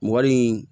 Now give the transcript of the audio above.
Mɔgɔ nin